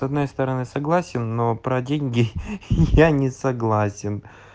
с одной стороны согласен но про деньги я не согласен